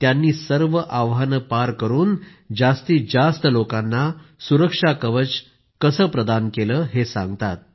त्यांनी कशी सर्व आव्हानांना पार करून जास्तीत जास्त लोकांना सुरक्षा कवच प्रदान केलं हे सांगतात